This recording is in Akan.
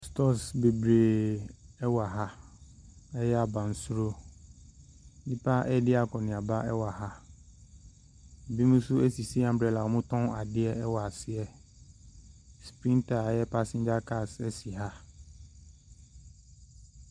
Stores bebree wɔ ha a ɛyɛ abansoro. Nnipa redi akɔnneaba wɔ ha. Binom nso asisi umbrella a wɔtɔn adeɛ wɔ ase. Sprinter a ɛyɛ passenger cars si ha.